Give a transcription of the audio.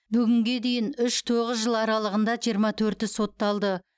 бүгінге дейін үш тоғыз жыл аралығында жиырма төрті сотталды